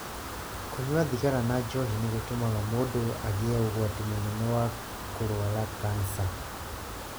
Kũnyua thigara na njohi nĩ gũtũmaga mũndũ agĩe ũgwati mũnene wa kũrũara kansa.